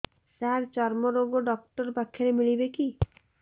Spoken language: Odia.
ସାର ଚର୍ମରୋଗ ଡକ୍ଟର ପାଖରେ ମିଳିବେ କି